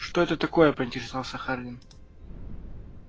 что это такое поинтересовался хардин